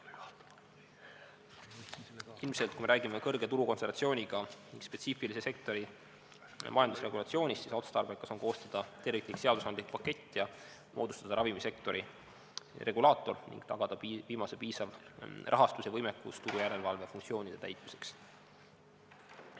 Ilmselt, kui me räägime kõrge turukontsentratsiooniga spetsiifilise sektori majandusregulatsioonist, siis otstarbekas on koostada terviklik seaduste pakett ja moodustada ravimisektori regulaator ning tagada viimase piisav rahastus ja võimekus turujärelevalve funktsioonide täitmiseks.